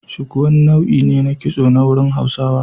Shuku wani nau'i ne na kitso a wurin Hausawa.